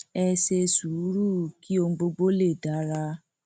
ẹ ṣe sùúrù kí ohun gbogbo lè dára